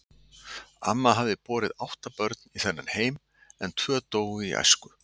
Amma hafði borið átta börn í þennan heim, en tvö dóu í æsku.